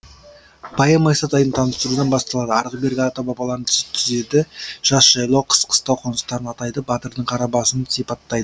поэма исатайды таныстырудан басталады арғы бергі ата бабаларын тізеді жаз жайлау қыс қыстау қоныстарын атайды батырдың кара басын сипаттай